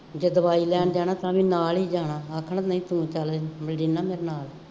ਜੇ ਦਵਾਈ ਲੈਣ ਜਾਣਾ ਤਾਂ ਵੀ ਨਾਲ ਹੀ ਜਾਣਾ, ਆਖਣ ਨਹੀਂ ਸੁਣ ਤਾਂ ਲੈ ਜਿੰਨ੍ਹਾ ਨੇ ਆਪਣਾ